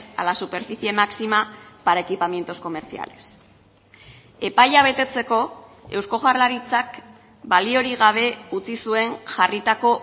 a la superficie máxima para equipamientos comerciales epaia betetzeko eusko jaurlaritzak baliorik gabe utzi zuen jarritako